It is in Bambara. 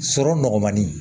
Sɔrɔ nɔgɔmani